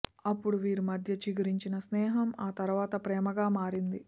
అప్పుడు వీరి మధ్య చిగురించిన స్నేహం ఆ తరవాత ప్రేమగా మారింది